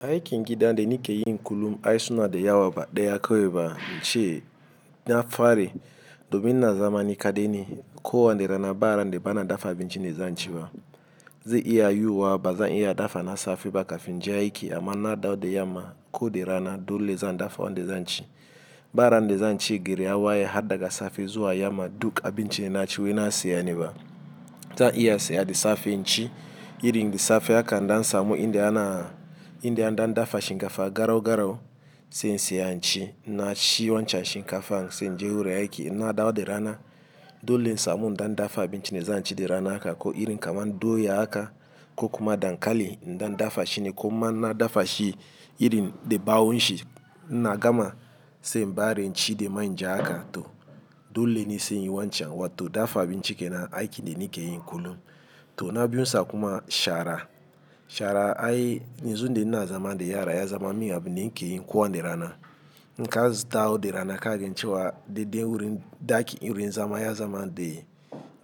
Aiki gida de nike yi kullum ai suna de yawa ba ɗaya kawai ba, ince na fari, domin na zama ni kade ne, ko wani rana ba ran de bana dafa abinci ne zan ci ba. Ze iya yiwuwa ba zan iya dafa na safe ba kafin in je aiki amma na dawo de yamma ko de rana dole zan dafa wanda zan ci. Baran de zan ce geri ya waye had daga safe zuwa yamma duk abinci da naci wai na siya ne ba. Zan iya saya de safe in ci, irin de safe haka indan samu inda ana, inda an dafa shinkafa garau garau, sai in siya in ci, in na ci wancan shinkafan sai in je wurin aiki. In na dawo de rana, dole in samu in da dafa abinci ne zan ci de rana aka ko irin kamar doya aka ko kuma dankali in dan dafa shi ne ko ma na dafa shi irin de ɓawo shi, in na gama, sai in bare in ci de man ja aka. To dole ne sai yi wancan, wato dafa abinci ke nan, aiki de nike yi kullum. To na biyun sa kuma shara. Shara ai nizon de ina zaman de yara, ya zaman miya abin de nike yi ko wane rana. In ka zu dawo de rana kagen cewa, de den wurin daki irin zaman ya zaman de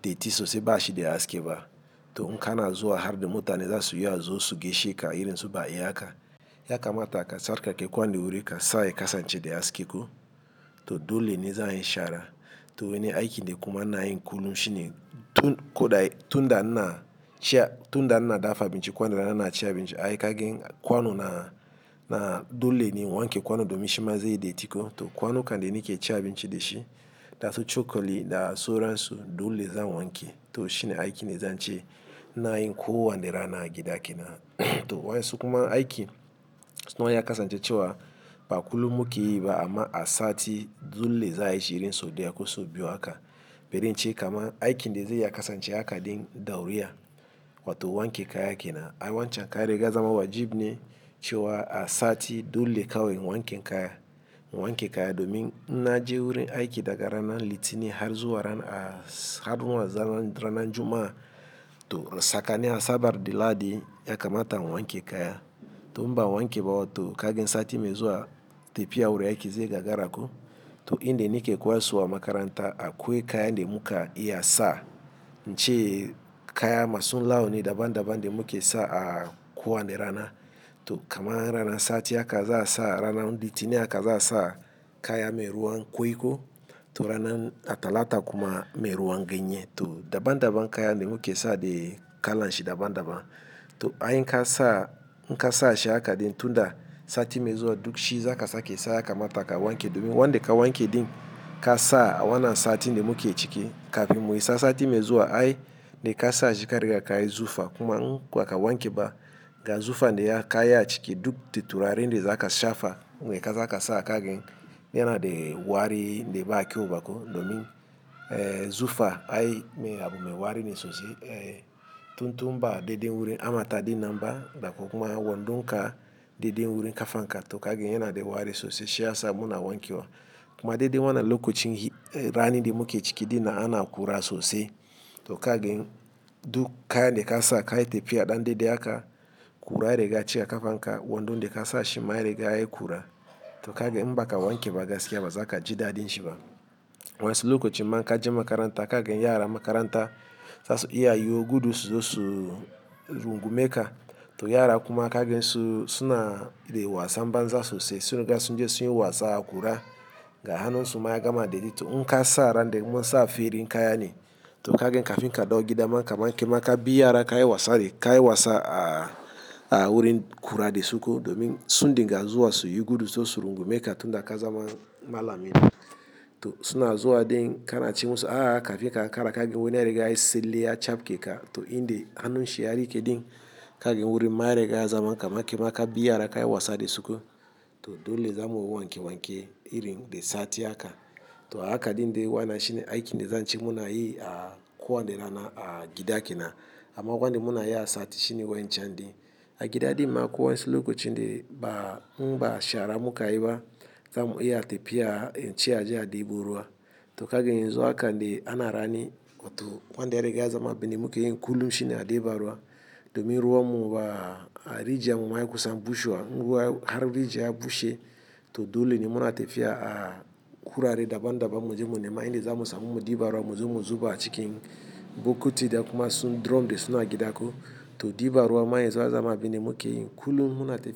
detti sosai bashi de aski ba to in ka na zuwa har da mutane za su iya zo su gaishe ka, irin su ba iya aka. Ya kamata ka sarkake kwanon wurin ka, sa yi kasance de aske ko, to dole ne za a yi shara. To wani aikin de kuma ina yi kullum shine, tun koda, tunda ina, cin a, tunda ina dafa abinci ko wani rana ina cin abinci, ai ka gen kwanu na, dole ne in wanke kwanu domin shima ze yi detti ko, to kwanukan de ni ke cin abinci de shi da su cokali da suransu, dole zan wanke. To shine aiki ne zan ce ina yi ko wani rana a gida ke na. To wa'insu kuma aikin, suna ya kasance cewa ba kullum mu ke yi ba amma a sati dole za a yi shi irin so deya ko sau biyu aka. Berin cewa kama aiki de zai ya kasance aka din dauriya, wato wanke kaya ke na. Ai wancan kai riga zaman wajibi ne cewa a sati dole kawai wanke kaya, wanke kaya, domin in na je wurin aiki daga ranan litini har zuwa ranan a har zuwa ranan Juma'a to tsakani Asabar da Lahadi yakamata in wanke kaya. To in ba a wanke ba wato, kagen sati mai zuwa, tafiya wurin aiki zai gagara ko, to in de nike koyassuwa makaranta, a koyi kaya de muka iya sa, in ce kaya masun launi daban daban de muka yi sa a ko wani rana. To kamar ranan sati aka za a sa rana litini aka za a sa kaya mai ruwan kwai ko, to rana talata kuma mai ruwan ganye. To daban daban kaya de muka yi sa de kalan shi daban daban. To ai in ka sa, in ka sa shi aka din, tunda sati mai zuwa duk shi za ka sake sa, yakamata ka wanke domin wanda ka wanke din, ka sa a wannan sati de muke ciki kafin mu isa sati mai zuwa ai de ka sa shi ka riga ka yi zufa, kuma in baka ka wanke ba ga zufan de ya ka yi a ciki duk da tatturare de za ka shafa wai ka za ka sa, kagen yana de wari de ba kyau ba ko domin eh zufa ai meye abun ga, wari ne sosai. Eh tuntu ba de den wurin amata din nan ba da kuma wandon ka de den wurin kafa ka to kagen yana de wari sosai. Shi ya sa muna wanke wa. Kuma de den wannan lokacin rani de muka yi ciki dina ana ƙura sosai to kagen duk kaya de ka sa kai tafiya ɗan de de aka, ƙura de ya riga ya cika kafa ka, wandon de ka sa shi ma riga ya yi ƙura, to kagen in ba ka wanke ba gaskiya ba za ka ji daɗin shi ba. Wa'insu lokacin ma in ka je makaranta kagen yaran makaranta za su iya yiwo gudu su zo su su rungune ka, to yara kuma kagen su, suna de wasan banza sosai, sun riga sunje sun yi wasa a kura. Ga hannunsu ma ya gama de in ka sa ran de in mun sa feri kaya ne, to kagen kafin ka dau gida ma kaman ke ma ka bi yara ka yi wasa ne ka yi wasa ah a wurin ƙura de su ko, domin sun dinga zuwa su yi gudu su zo su rungume ka tunda ka zaman malamin. To suna zuwa din, ka na ce musu a'a, kafin ka ankara ka gen wani ya riga ya yi selle ya capke ka, to in de hannun shi ya rike din, kagen wurin ma ya riga ya zama kaman kaman kai ma ka bi yara ka yi wasa de suko. To dole za mu wanke wanke, irin de sati aka. To aka din de wannan shine aikin de zan ce muna yi a ko wani rana a gida kenna, amma wan de muna yi a sati shine wancan din. A gida din ma ko wa'insu lokacin de ba in ba shara mukayi ba, kam iya tafiya in ce a je a ɗibo ruwa, to kagen yanzu aka de ana rani, wato kwan de ya rega ya zaman abin de muka yi kullum shine aɗeba ruwa, domin ruwa mu ba a rijiyan mu ma ya kusan bushewa. In ruwa, har rijiya ya bushe, to dole ne muna tafiya a kurare daban daban mu je mu nemi inda za mu samu mu ɗiba ruwa, mu zo mu zuba a cikin bokiti da kuma su drum de suna a gida ko, to ɗiba ruwa ma yazu ya zaman abin de mukeyi kullum, muna tafiya.